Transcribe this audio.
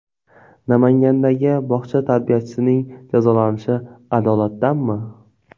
Namangandagi bog‘cha tarbiyachisining jazolanishi adolatdanmi?